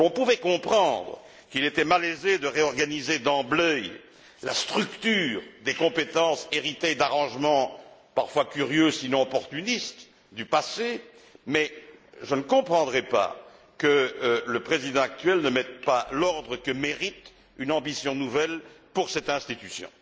On pouvait comprendre qu'il était malaisé de réorganiser d'emblée la structure des compétences héritées d'arrangements parfois curieux, sinon opportunistes, du passé, mais je ne comprendrais pas que le président actuel n'y mette pas l'ordre que mérite une ambition nouvelle pour cette institution.